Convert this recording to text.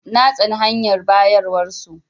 Na tsane hanyar bayarwar su.